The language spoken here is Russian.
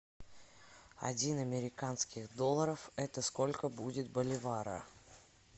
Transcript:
один американских долларов это сколько будет боливара